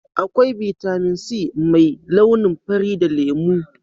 akwai Vitamin c mai launin fari da lemu